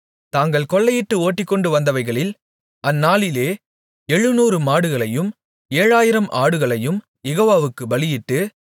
தாங்கள் கொள்ளையிட்டு ஓட்டிக்கொண்டு வந்தவைகளில் அந்நாளிலே எழுநூறு மாடுகளையும் ஏழாயிரம் ஆடுகளையும் யெகோவாவுக்கு பலியிட்டு